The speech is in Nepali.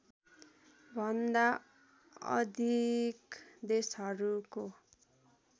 भन्दा अधिक देशहरूको